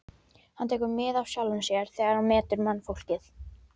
Hann tekur mið af sjálfum sér þegar hann metur mannfólkið.